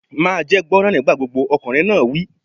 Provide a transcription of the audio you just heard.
Máa jẹ́ gbọ́ràn nígbà gbogbo! Ọkùnrin náà wí.